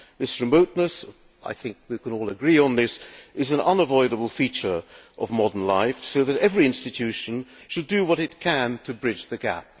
This remoteness I think we can all agree on this is an unavoidable feature of modern life, so every institution should do what it can to bridge the gap.